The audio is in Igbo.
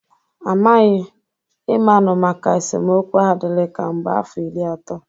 Amaghi. Ị manụ maka esemokwu ahụ dịri ka mgbe afọ iri ato.